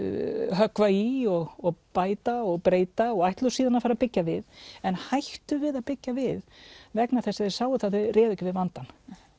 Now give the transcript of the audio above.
höggva í og bæta og breyta og ætluðu síðan að fara að byggja við en hættu við að byggja við vegna þess að þau sáu að þau réðu ekki við vandann